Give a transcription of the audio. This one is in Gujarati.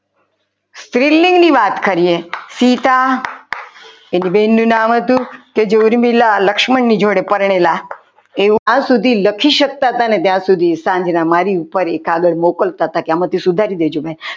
સ્ત્રીલિંગની વાત કરીએ સીતા એક બેન નું નામ હતું જે મિલા લક્ષ્મણ ની જોડે પરણેલા હતા એવું આજ સુધી લખી શકતા હતા ને તેવું મારી ઉપર એક આગળ મોકલતા હતા આમાંથી સુધારી દેજો કંઈ.